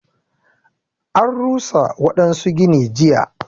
An rusa waɗansu gini jiya.